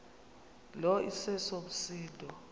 lo iseso msindo